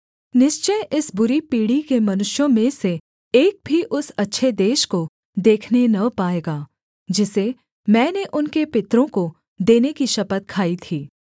निश्चय इस बुरी पीढ़ी के मनुष्यों में से एक भी उस अच्छे देश को देखने न पाएगा जिसे मैंने उनके पितरों को देने की शपथ खाई थी